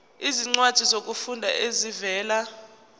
izincwadi zokufunda ezivela